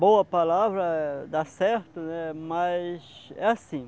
boa palavra, dá certo, né? Mas, é assim.